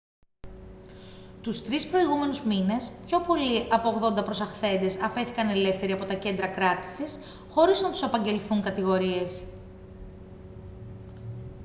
τους 3 προηγούμενους μήνες πιο πολλοί από 80 προσαχθέντες αφέθηκαν ελεύθεροι από τα κέντρα κράτησης χωρίς να τους απαγγελθούν κατηγορίες